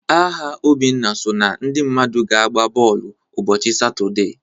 Aha Obinna so na ndị mmadụ ga-agba bọọlụ ụbọchị Satọde